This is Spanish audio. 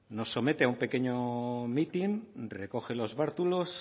nos somete a un pequeño mitin recoge los bártulos